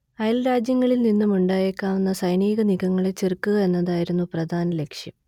അയൽ രാജ്യങ്ങളിൽ നിന്നുമുണ്ടായേക്കാവുന്ന സൈനിക നീക്കങ്ങളെ ചെറുക്കുക എന്നതായിരുന്നു പ്രധാന ലക്ഷ്യം